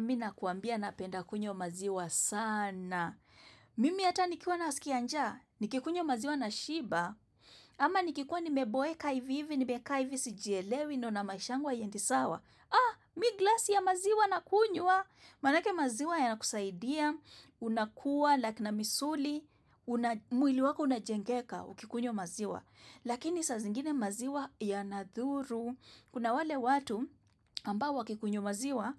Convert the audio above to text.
Mina kuambia napenda kunyo maziwa sana. Mimi hata nikikuwa naskia njaa, nikikunywa maziwa nashiba, ama nikikuwa nimeboeka ivi ivi, nimekaai vi sijelewi, naona maisha yangu haiendi sawa. Ah, mi glasi ya maziwa na kunywa. Manake maziwa yana kusaidia, unakuwa, lakina misuli, mwili wako unajengeka, ukikunywa maziwa. Lakini sa zingine maziwa yanadhuru. Kuna wale watu ambao wakikunyumaziwa